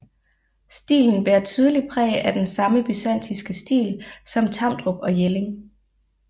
Stilen bærer tydeligt præg af den samme byzantinske stil som Tamdrup og Jelling